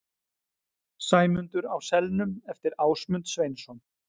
Sæmundur á selnum eftir Ásmund Sveinsson.